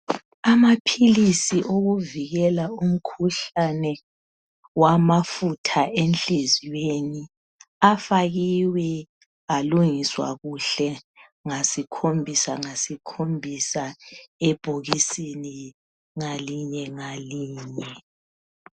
Amaphilisi okuvikela umkhuhlane wamafutha enhliziyweni afakiwe alungiswa kuhle ngasikhombisa ngasikhombisa ebhokisini ngalinye ngalinye.